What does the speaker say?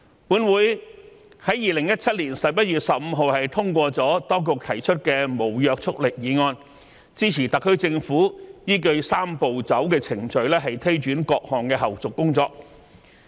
本會於2017年11月15日通過了當局提出的無約束力議案，支持特區政府依據"三步走"程序推展各項後續工作。